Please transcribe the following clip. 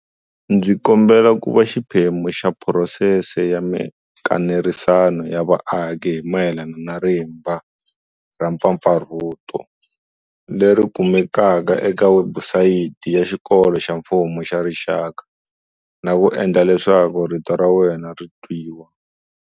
Ndzi kombela ku va xiphemu xa phurosese ya mikanerisano ya vaaki hi mayelana na rimba ra mpfapfarhuto, leri kumekaka eka webusayiti ya Xikolo xa Mfumo xa Rixaka, na ku endla leswaku rito ra wena ri twiwa.